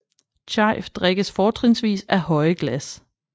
Chai drikkes fortrinsvis af høje glas